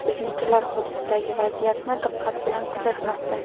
Biznikilar hududdagi vaziyatni diqqat bilan kuzatmoqda.